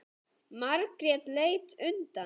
Margrét leit undan.